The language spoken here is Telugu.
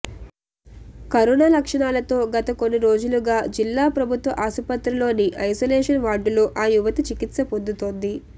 కరోనా లక్షణాలతో గత కొన్ని రోజులుగా జిల్లా ప్రభుత్వ ఆస్పత్రిలోని ఐసోలేషన్ వార్డులో ఆ యువతి చికిత్స పొందుతోంది